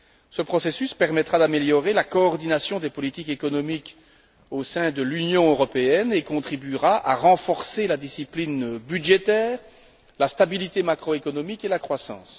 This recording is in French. Ce processus permettra d'améliorer la coordination des politiques économiques au sein de l'Union européenne et contribuera à renforcer la discipline budgétaire, la stabilité macroéconomique et la croissance.